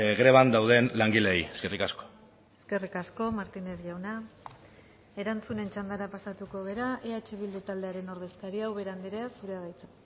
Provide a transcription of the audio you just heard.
greban dauden langileei eskerrik asko eskerrik asko martínez jauna erantzunen txandara pasatuko gara eh bildu taldearen ordezkaria ubera andrea zurea da hitza